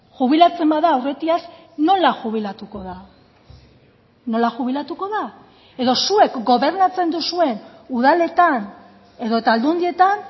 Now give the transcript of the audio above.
jubilatzen bada aurretiaz nola jubilatuko da nola jubilatuko da edo zuek gobernatzen duzuen udaletan edota aldundietan